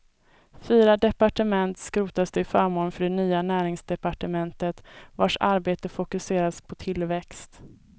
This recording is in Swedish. Fyra departement skrotas till förmån för det nya näringsdepartementet vars arbete fokuseras på tillväxt.